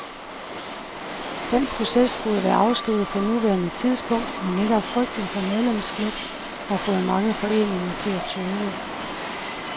Den proces burde være afsluttet på nuværende tidspunkt, men netop frygten for medlemsflugt har fået mange foreninger til at tøve.